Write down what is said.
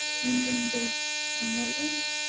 எங்க எங்க நம்ம ஊரு